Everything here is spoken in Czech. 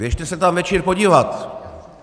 Běžte se tam večer podívat.